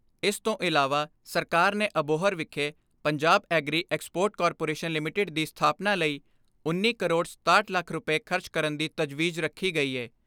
ਇਸ ਤੋਂ ਇਲਾਵਾ ਸਰਕਾਰ ਨੇ ਅਬੋਹਰ ਵਿਖੇ Punjab agri export corporation limited ਦੀ ਸਥਾਪਨਾ ਲਈ ਉੱਨੀ ਕਰੋੜ ਛੇ ਸੌ ਸੱਤ ਲੱਖ ਰੁਪਏ ਖਰਚ ਕਰਨ ਦੀ ਤਜਵੀਜ਼ ਰੱਖੀ ਗਈ ਏ।